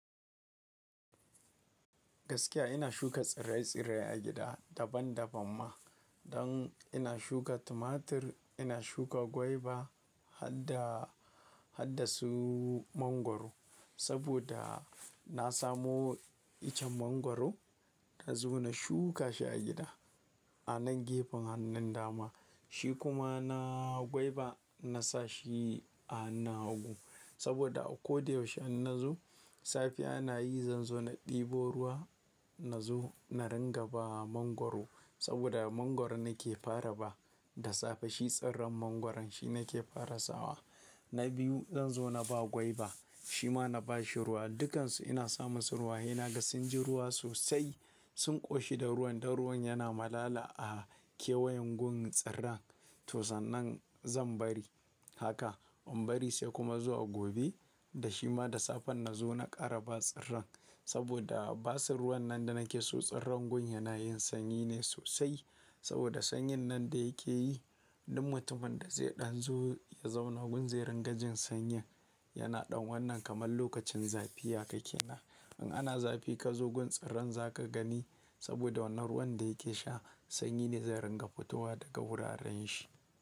Gaskiya ina shuka tsirrai tsirrai a gida daban daban ma. Don ina shuka tumatir, ina shuka gwaiba, hadda hadda su mangwaro. Saboda na samo iccen mangwaro na zo na shuka shi a gida a nan gefen hannun dama. Shi kuma na gwaiba na sa shi a hannun hagu. Saboda a ko da yaushe in na zo, safiya na yi zan zo na ɗebo ruwa na zo na ringa ba mangwaro. Saboda mangwaro nake fara ba da safe shi tsirran mangwaron shi nake fara sawa. Na biyu zan zo na ba gwaiba shi ma na ba shi ruwa. Dukansu ina samun su ruwa, henaga sun ji ruwa sosai sun ƙoshi da ruwan don ruwan yana malala a kewayen gun tsirran. To sannan zan bari haka in bari sai kuma zuwa gobe da shi ma da safe na zo na ƙara ba tsirran. Saboda basu ruwan nan da nake so tsirran gun yana yin sanyi ne sosai. Saboda sanyin nan da yake yi duk mutumin da zai ɗan zo ya zauna gun zai ringa jin sanyin. Yana ɗan wannan kamar lokacin zafi haka kenan. In ana zafi ka zo gun tsirran za ka gani saboda wannan ruwan da yake sha sanyi ne zai ringa fitowa daga wuraren shi.